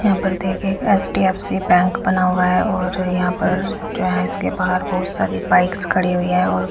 यहाँ पर देखिए एक एच_डी_एफ_सी बैंक बना हुआ है और यहाँ पर जो है इसके बार बहुत सारी बाइक्स खड़ी हुई हैं और--